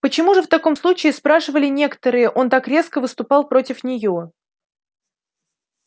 почему же в таком случае спрашивали некоторые он так резко выступал против неё